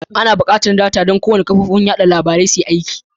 Ana buƙatar data don kowane kafofin watsa labarun suyi aiki.